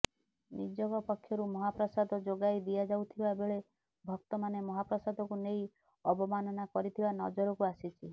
ନିଯୋଗ ପକ୍ଷରୁ ମହାପ୍ରସାଦ ଯୋଗାଇ ଦିଆଯାଉଥିବା ବେଳେ ଭକ୍ତମାନେ ମହାପ୍ରସାଦକୁ ନେଇ ଅବମାନନା କରିଥିବା ନଜରକୁ ଆସିଛି